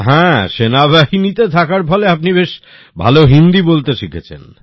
হ্যাঁ সেনাবাহিনীতে থাকার ফলে আপনি বেশ ভাল হিন্দী বলতে শিখেছেন